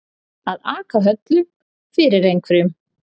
Að aka höllu fyrir einhverjum